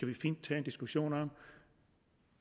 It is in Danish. vi fint tage en diskussion om